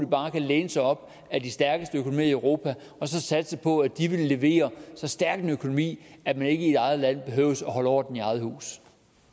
bare kan læne sig op ad de stærkeste økonomier i europa og så satse på at de vil levere så stærk en økonomi at man ikke i sit eget land behøver at holde orden i eget hus